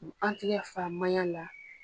an tigɛ fa maɲan la.